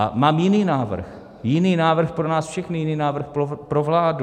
A mám jiný návrh, jiný návrh pro nás všechny, jiný návrh pro vládu.